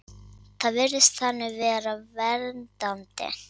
Það virðist þannig vera verndandi.